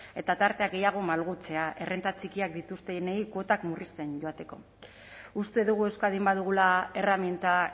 eta tartea gehiago malgutzea errenta txikienak dituztenei kuotak murrizten joateko uste dugu euskadin badugula erreminta